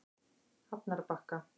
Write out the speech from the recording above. Hafnarbakka